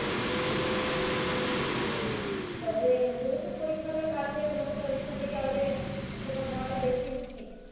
তবে যেহেতু পরীক্ষাটা কাছে তোমাকে পরীক্ষার দিকে আগে focus হওয়াটা বেশি উচিত